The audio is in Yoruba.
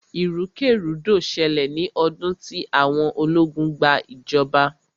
ìrúkèrudo ṣẹlẹ̀ ní ọdún tí àwọn ológun gba ìjọba.